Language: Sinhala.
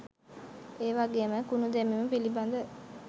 එවගේම කුණු දැමීම පිළිබඳ